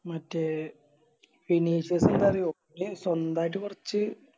മറ്റേ വിനീഷ് ഒക്കെ എന്താ അറിയോ സ്വന്തായിട്ട് കൊറച്ച്